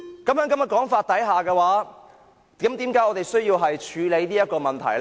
那麼，在這種說法之下，我們為何需要處理這個問題呢？